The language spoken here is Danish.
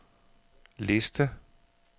liste